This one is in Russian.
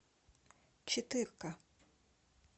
четыре к